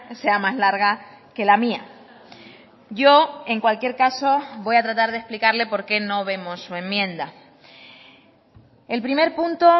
sea más larga que la mía yo en cualquier caso voy a tratar de explicarle por qué no vemos su enmienda el primer punto